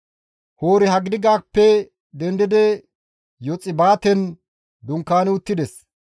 Hori-Haggidigappe dendidi Yoxbaaten dunkaani uttides.